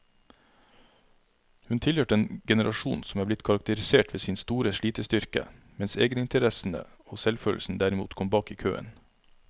Hun tilhørte en generasjon som er blitt karakterisert ved sin store slitestyrke, mens egeninteressene og selvfølelsen derimot kom bak i køen.